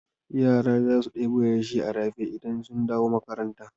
Yara za su ɗebo yashi a rafi idan sun dawo makaranta.